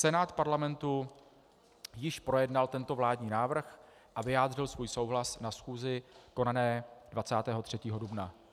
Senát Parlamentu již projednal tento vládní návrh a vyjádřil svůj souhlas na schůzi konané 23. dubna.